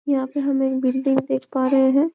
यहाँ पे हम एक बिल्डिंग देख पा रहे है।